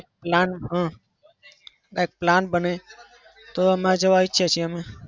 plan હ plan બને તો એમાં જવા ઈચ્છએ છે અમે.